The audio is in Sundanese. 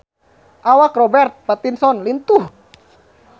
Awak Robert Pattinson lintuh